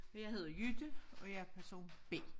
Og jeg hedder Jytte og jeg er person B